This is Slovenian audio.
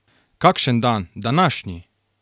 Kakšen dan, današnji!